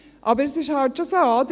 Aber es ist halt schon so, oder?